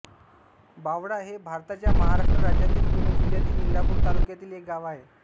बावडा हे भारताच्या महाराष्ट्र राज्यातील पुणे जिल्ह्यातील इंदापूर तालुक्यातील एक गाव आहे